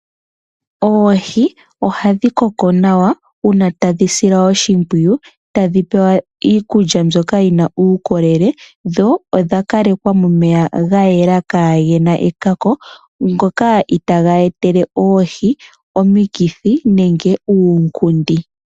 Oohi ohadhi koko nawa uuna tadhi silwa oshipwiyu tadhi pewa iikulya mbyoka yina uukolele dho odha kalekwa momeya ga yela kage na ekako ngoka itaga etele oohi omikithi nenge uukundi.